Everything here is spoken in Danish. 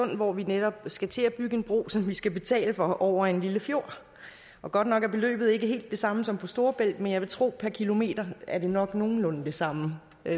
hvor vi netop skal til at bygge en bro som vi skal betale for over en lille fjord og godt nok er beløbet ikke helt det samme som på storebælt men jeg vil tro at per kilometer er det nok nogenlunde det samme